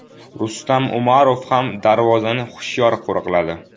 Rustam Umarov ham darvozani hushyor qo‘riqladi.